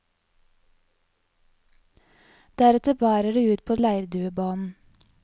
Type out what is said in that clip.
Deretter bærer det ut på leirduebanen.